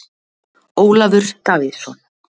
Ólafur Davíðsson.